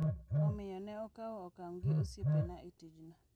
Omiyo, ne akawo okang’ gi osiepena e tijno.